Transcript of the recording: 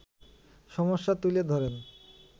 সমস্যা তুলে ধরেন